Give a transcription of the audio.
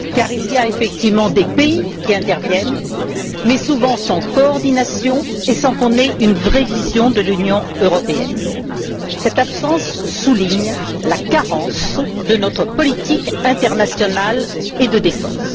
Il y a effectivement des pays qui interviennent mais souvent sans coordination et sans qu'on ait une vraie vision de l'Union européenne. Cette absence souligne la carence de notre politique internationale et de défense.